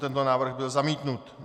Tento návrh byl zamítnut.